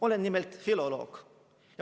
Olen nimelt filoloog.